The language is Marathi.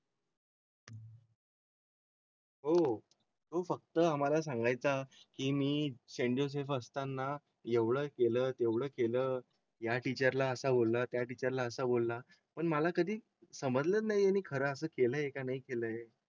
हो हो हो फक्त आम्हाला सांगाय चा की मी असे असताना एवढं केलं तेवढं केलं या टीचर ला असा बोला त्याला आता बोला पण मला कधी समजलंच नाही आणि खरं असं केलं आहे का? नाही केलं आहे?